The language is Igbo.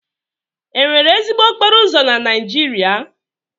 Enwere ezigbo okporo ụzọ na Naijiria?